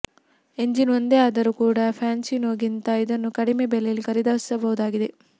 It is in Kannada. ಎಂಜಿನ್ ಒಂದೇ ಆದರೂ ಕೂಡ ಫ್ಯಾಸಿನೋಗಿಂತ ಇದನ್ನು ಕಡಿಮೆ ಬೆಲೆಯಲ್ಲಿ ಖರೀದಿಸಬಹುದಾಗಿದೆ